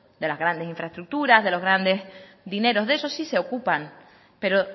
de las grandes infraestructuras de los grandes dinero de eso sí se ocupan pero